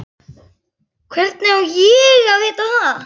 Hvernig á ég að vita það?